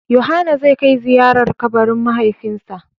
Yohana zai kai ziyarar a kabarin mahaifinsa.